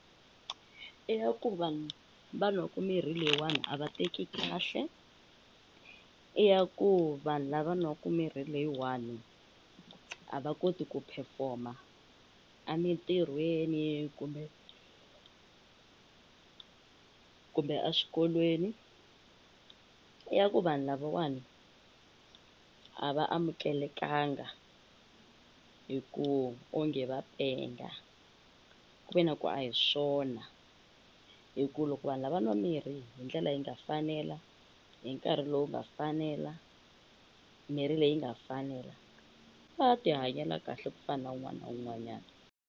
I ya ku vanhu va nwaku mirhi leyiwani a va teki kahle i ya ku vanhu lava nwaku mirhi leyiwani a va koti ku perform-a a mintirhweni kumbe kumbe a swikolweni i ya ku vanhu lavawani a va amukelekanga hi ku onge va penga ku ve na ku a hi swona hi ku loko vanhu lava va nwa mirhi hi ndlela yi nga fanela hi nkarhi lowu nga fanela mirhi leyi nga fanela va ti hanyela kahle ku fana wun'wani na wun'wanyani.